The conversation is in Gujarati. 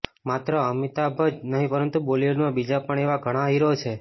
માત્ર અમિતાભ જ નહિ પરંતુ બોલીવુડમાં બીજા પણ એવા ઘણા હીરો છે